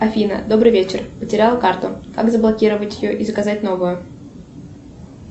афина добрый вечер потеряла карту как заблокировать ее и заказать новую